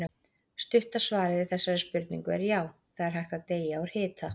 Stutta svarið við þessari spurningu er já, það er hægt að deyja úr hita.